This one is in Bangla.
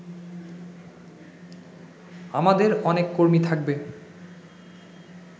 আমাদের অনেক কর্মী থাকবে